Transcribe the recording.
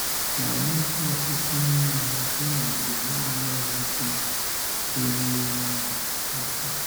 Ma nyekwa ọtụtụ n’ime ha, ịnọgide n’alụghị di bụ ihe ịma aka.